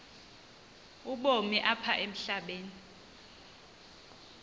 ubomi apha emhlabeni